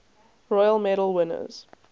royal medal winners